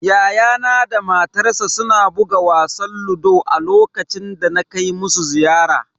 Yayana da matarsa suna buga wasan ludo a lokacin da na kai musu ziyara.